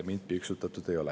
Mind piiksutatud ei ole.